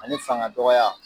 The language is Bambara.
Ani fanga dɔgɔya.